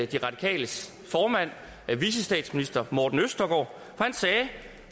de radikales formand vicestatsminister morten østergaard